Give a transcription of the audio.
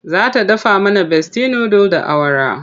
Za ta dafa mana Besti nudul da awara.